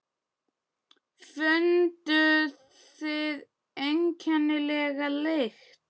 Funduð þið einkennilega lykt?